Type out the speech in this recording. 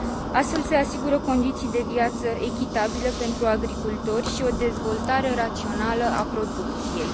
Astfel, se asigură condiții de viață echitabile pentru agricultori și o dezvoltare rațională a producției.